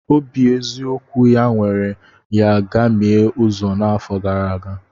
Obi eziokwu ya were ya gamie uzo n'afọ gara aga.